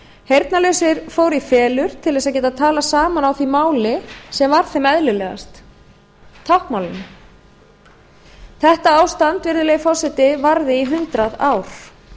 heyrnarlausir fóru í felur til þess að geta talað saman á því máli sem var þeim eðlilegast táknmálinu þetta ástand virðulegi forseti varði í hundrað ár